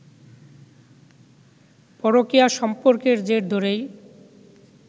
পরকীয়া সম্পর্কের জের ধরেই